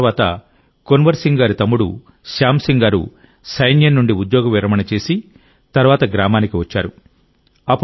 కొంతకాలం తర్వాత కున్వర్ సింగ్ గారి తమ్ముడు శ్యామ్ సింగ్ గారు సైన్యం నుండి ఉద్యోగ విరమణ చేసిన తర్వాత గ్రామానికి వచ్చారు